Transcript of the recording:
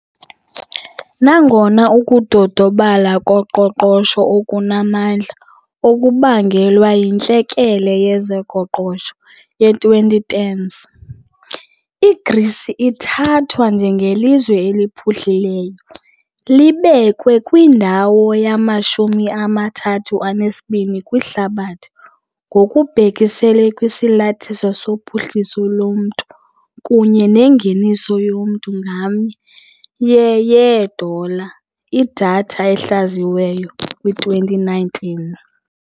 Nangona ukudodobala koqoqosho okunamandla okubangelwa yintlekele yezoqoqosho ye- 2010s, iGrisi ithathwa njengelizwe eliphuhlileyo, libekwe kwindawo yamashumi amathathu anesibini kwihlabathi ngokubhekiselele kwisalathiso sophuhliso lomntu kunye nengeniso yomntu ngamnye ye- yeedola, idatha ehlaziyiweyo kwi-2019.